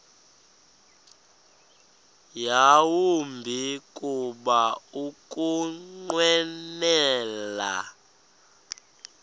yawumbi kuba ukunqwenela